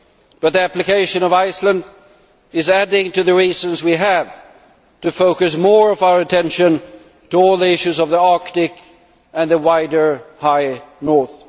but the application of Iceland is adding to the reasons we have to focus more of our attention on all the issues of the Arctic and the wider high North.